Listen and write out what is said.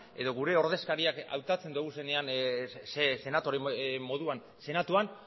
edo gure ordezkariak hautatzen ditugunean senadore moduan senatuan